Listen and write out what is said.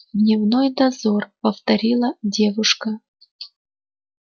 дневной дозор повторила девушка